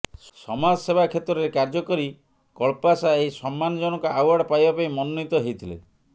ସମାଜସେବା କ୍ଷେତ୍ରରେ କାର୍ଯ୍ୟ କରି କଳ୍ପାଶା ଏହି ସମ୍ମାନଜନକ ଆଓ୍ବାର୍ଡ ପାଇବା ପାଇଁ ମନୋନୀତ ହେଇଥିଲେ